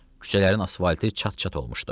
Küçələrin asfaltı çat-çat olmuşdu.